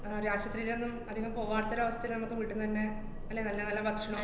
ആഹ് ആശൂത്രീലൊന്നും അധികം പോവാത്തൊരവസ്ഥേല് മ്മക്ക് വീട്ടീന്നന്നെ അല്ലേ നല്ല നല്ല ഭക്ഷണോം